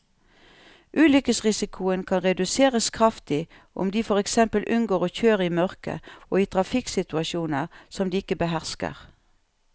Ulykkesrisikoen kan reduseres kraftig om de for eksempel unngår å kjøre i mørket og i trafikksituasjoner som de ikke behersker.